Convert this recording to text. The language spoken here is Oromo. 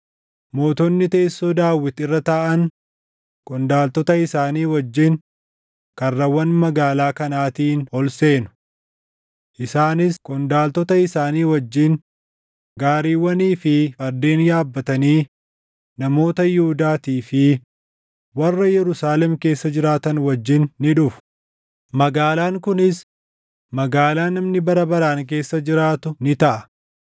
mootonni teessoo Daawit irra taaʼan qondaaltota isaanii wajjin karrawwan magaalaa kanaatiin ol seenu. Isaanis qondaaltota isaanii wajjin gaariiwwanii fi fardeen yaabbatanii namoota Yihuudaatii fi warra Yerusaalem keessa jiraatan wajjin ni dhufu; magaalaan kunis magaalaa namni bara baraan keessa jiraatu ni taʼa.